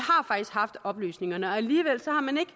har faktisk haft oplysningerne og alligevel har man ikke